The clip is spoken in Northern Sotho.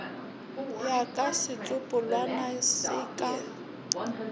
ya ka setsopolwana se ka